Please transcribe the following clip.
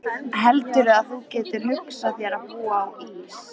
Heldurðu að þú getir hugsað þér að búa á Ís